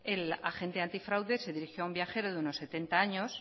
el agente antifraude se dirigió a un viajero de unos setenta años